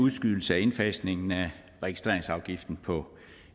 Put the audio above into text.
udskydelse af indfasningen af registreringsafgiften på